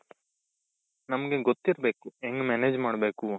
ನಮ್ಗೆ ಗೊತ್ತಿರಬೇಕು ಹೆಂಗ್ manage ಮಾಡ್ಬೇಕು.